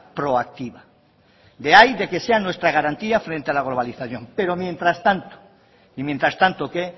proactiva de ahí de que sea nuestra garantía frente a la globalización pero mientras tanto y mientras tanto que